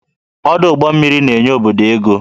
Ọdụ ụgbọ mmiri na-enye obodo ego